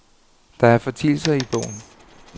Der er fortielser i bogen.